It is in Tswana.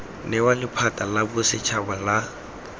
newa lephata la bosetshaba la